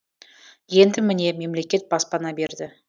енді міне мемлекет баспана берді